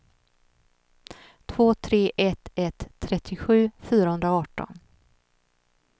två tre ett ett trettiosju fyrahundraarton